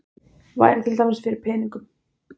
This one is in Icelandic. Væri til dæmis fyrir peningum.